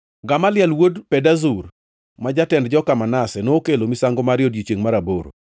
Gamaliel wuod Pedazur, ma jatend joka Manase, nokelo misango mare e odiechiengʼ mar aboro.